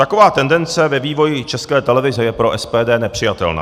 Taková tendence ve vývoji České televize je pro SPD nepřijatelná.